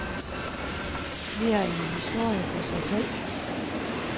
Det er en historie for sig selv.